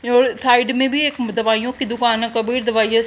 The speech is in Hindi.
और थाइड में भी एक दवाइयां की दुकान है कभी भी दवाइयां स --